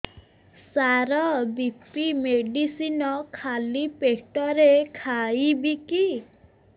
ସାର BP medicine ଖାଲି ପେଟରେ ଖାଇବି କି